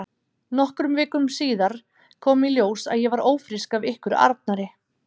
Nokkrum vikum síðar kom í ljós að ég var ófrísk af ykkur Arnari.